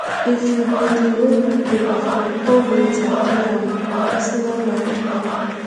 if you been dey owe pipo before come later clear am na personal milestone